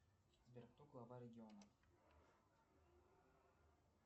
сбер кто глава региона